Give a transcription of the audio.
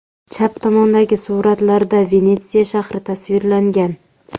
Chap tomondagi suratlarda Venetsiya shahri tasvirlangan.